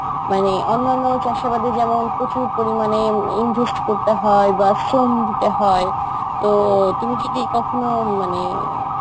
মানে অন্যান্য চাষাবাদে যেমন প্রচুর পরিমানে invest করতে হয় বা শ্রম দিতে হয়, তো তুমি যদি কখনো মানে